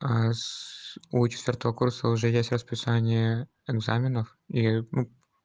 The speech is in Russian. а у четыёртого курса уже есть расписание экзаменов и ну